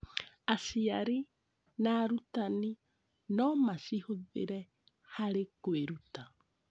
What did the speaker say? Aciari na arutani no macihũthĩre harĩ kwĩruta.